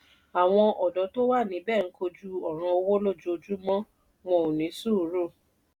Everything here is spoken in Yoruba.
àwọn òdó tó wà níbẹ̀ ń kojú òràn owó lójoojúmọ́ wọn ò ní sùúrù.